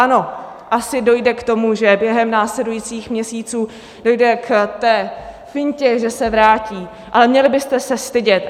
Ano, asi dojde k tomu, že během následujících měsíců dojde k té fintě, že se vrátí, ale měli byste se stydět.